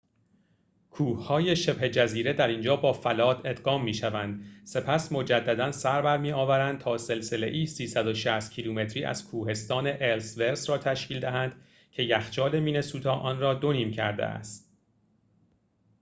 کوه‌های شبه جزیره در اینجا با فلات ادغام می‌شوند سپس مجدداً سربرمی‌آورند تا سلسله‌ای ۳۶۰ کیلومتری از کوهستان الس‌ورث را تشکیل دهند که یخچال مینه‌سوتا آن را دو نیم کرده است